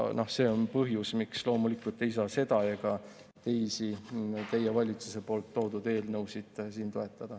See on põhjus, miks loomulikult ei saa seda ega teisi teie valitsuse toodud eelnõusid siin toetada.